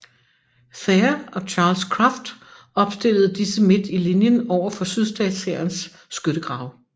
Thayer og Charles Cruft og opstillede disse midt i linjen overfor sydstatshærens skyttegrave